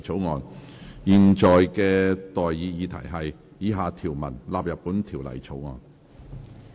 我現在向各位提出的待議議題是：以下條文納入本條例草案。